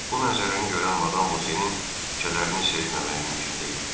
Bu mənzərəni görən Madam Bokenin kədərini sezməmək mümkün deyildi.